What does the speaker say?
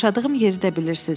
Yaşadığım yeri də bilirsiz.